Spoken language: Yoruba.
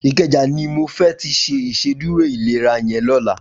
Ikeja ni mó fè ti ṣé Ìṣédùró ilérà yèn lòlá